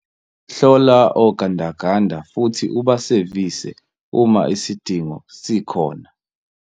Hlola ogandaganda futhi ubasevise uma isidingo sikhona.